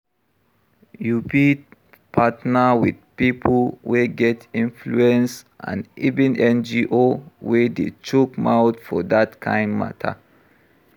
You fit partner with pipo wey get influence and even NGO wey dey chook mouth for dat kind matter